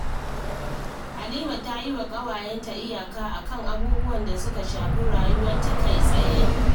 Halima ta yi wa ƙawayenta iyaka a kan abubuwan da suka shafi rayuwarta kai-tsaye